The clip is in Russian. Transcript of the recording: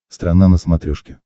страна на смотрешке